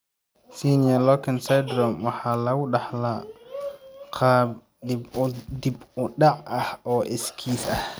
Senior Loken Syndrome waxa lagu dhaxlaa qaab dib-u-dhac ah oo iskiis ah.